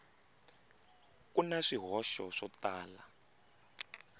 ku na swihoxo swo tala